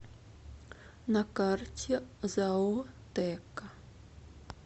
на карте зао теко